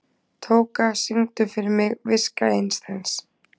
Tóka, syngdu fyrir mig „Viska Einsteins“.